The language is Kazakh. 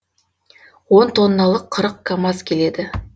он тонналық қырық камаз келеді